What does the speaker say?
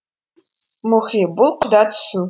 мұхи бұл құда түсу